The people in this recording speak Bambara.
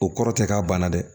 O kɔrɔ tɛ k'a banna dɛ